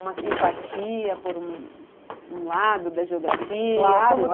uma simpatia por um lado da geografia? claro!